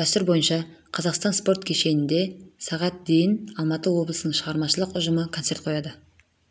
дәстүр бойынша қазақстан спорт кешенінде сағат дейін алматы облысының шығармашылық ұжымы концерт қояды